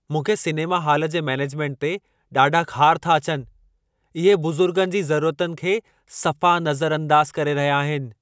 मूंखे cinema hall जे management ते ॾाढा ख़ार था अचनि। इहे बुज़ुर्गनि जी ज़रुरतुनि खे सफ़ा नज़रअंदाज़ करे रहिया आहिनि।